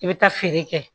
I bɛ taa feere kɛ